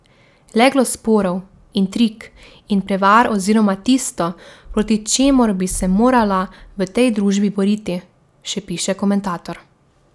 Leglo sporov, intrig in prevar oziroma tisto, proti čemur bi se morala v tej družbi boriti, še piše komentator.